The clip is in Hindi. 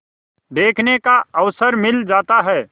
देखने का अवसर मिल जाता है